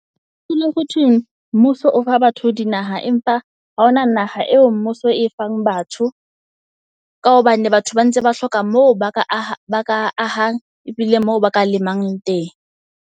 Ho dula ho thwe mmuso o fa batho di naha, empa ha hona naha eo mmuso e fang batho. Ka hobane batho ba ntse ba hloka moo ba ka aha ba ka ahang ebile moo ba ka lemang teng.